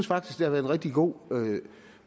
været en rigtig god